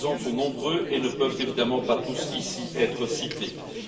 Les exemples sont nombreux et ne peuvent évidemment pas tous être cités ici.